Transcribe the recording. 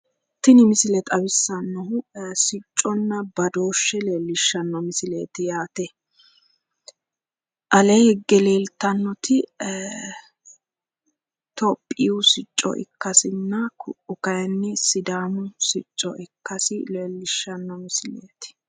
Tini misile leellishshannohu sicconna badooshshe leellishshanno misileeti yaate. alee higge leeltannoi tophiyu sicco ikkasenna ku'u kaayiinni sidaamu sicco ikkasi leellishshanno misileeti.